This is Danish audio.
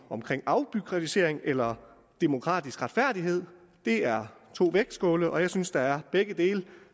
omkring afbureaukratisering eller demokratisk retfærdighed det er to vægtskåle og jeg synes der er